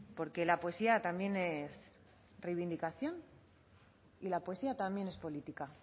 porque la poesía también es reivindicación y la poesía también es política